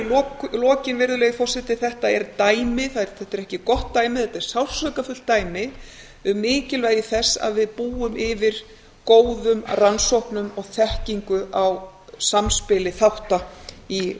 í lokin virðulegi forseti þetta er dæmi þetta er ekki gott dæmi þetta er sársaukafullt dæmi um mikilvægi þess að við búum yfir góðum rannsóknum og þekkingu á samspili þátta í